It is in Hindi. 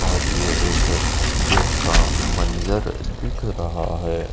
और ये एक जिन का मंजर दिख रहा है।